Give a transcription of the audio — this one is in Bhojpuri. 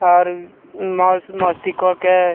और मस मस्ती करके --